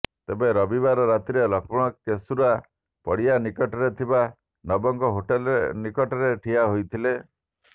ତେବେ ରବିବାର ରାତିରେ ଲକ୍ଷ୍ମଣ କେଶୁରା ପଡ଼ିଆ ନିକଟରେ ଥିବା ନବଙ୍କ ହୋଟେଲ୍ ନିକଟରେ ଠିଆ ହୋଇଥିଲେ